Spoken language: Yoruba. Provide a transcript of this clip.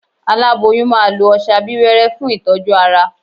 Aláboyún máa lo ọsẹ abíwẹ́rẹ́ fún ìtọ́jú ara